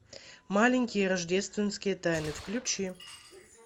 маленькие рождественские тайны включи